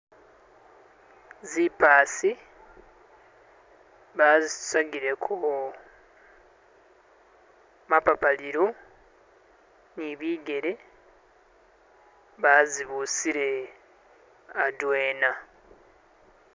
zipaasi bazisusagile ko mapapalilo, nibigele bazibusile adwena.